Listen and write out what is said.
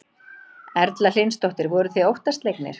Erla Hlynsdóttir: Voruð þið óttaslegnir?